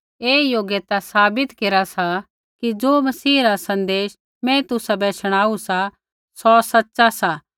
ऐ योग्यता साबित केरा सा कि ज़ो मसीह रा सन्देश मैं तुसाबै शणाऊ सा सौ सच़ा सा